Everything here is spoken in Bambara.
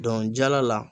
Dɔnkili jala la